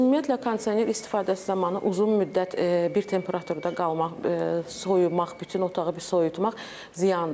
Ümumiyyətlə kondisioner istifadəsi zamanı uzun müddət bir temperaturda qalmaq, soyumaq, bütün otağı bir soyutmaq ziyandır.